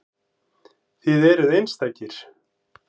Þið eruð einstakir.